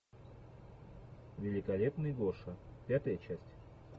великолепный гоша пятая часть